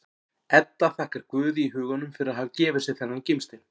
Edda þakkar Guði í huganum fyrir að hafa gefið sér þennan gimstein.